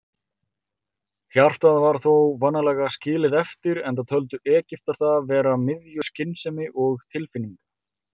Hjartað var þó vanalega skilið eftir, enda töldu Egyptar það vera miðju skynsemi og tilfinninga.